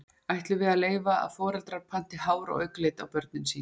Ætlum við að leyfa að foreldrar panti hár- og augnlit á börnin sín?